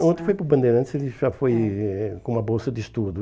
O outro foi para o Bandeirantes, ele já foi eh com uma bolsa de estudo.